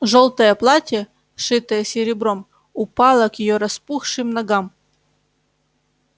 жёлтое платье шитое серебром упало к её распухшим ногам